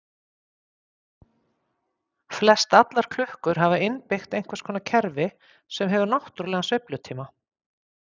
Flestallar klukkur hafa innbyggt einhvers konar kerfi sem hefur náttúrlegan sveiflutíma.